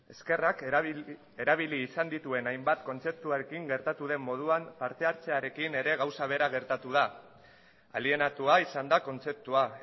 eskerrak erabili izan dituen hainbat kontzeptuarekin gertatu den moduan parte hartzearekin ere gauza bera gertatu da alienatua izan da kontzeptua